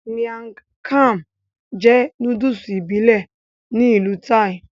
Miang kham jẹ́ nóódùsì ìbílẹ̀ ní ìlú Thai